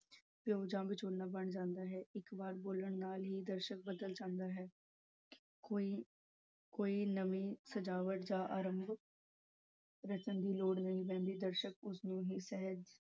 ਪਿਓ ਬਣ ਜਾਂਦਾ ਹੈ। ਇੱਕ ਵਾਰ ਬੋਲਣ ਨਾਲ ਹੀ ਦਰਸ਼ਕ ਬਦਲ ਜਾਂਦਾ ਹੈ ਕੋਈ ਕੋਈ ਨਵੀਂ ਸਜਾਵਟ ਦਾ ਆਰੰਭ ਰਚਨ ਦੀ ਲੋੜ ਨਹੀਂ ਪੈਂਦੀ ਦਰਸ਼ਕ ਉਸਨੂੰ ਹੀ